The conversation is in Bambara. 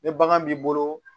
Ni bagan b'i bolo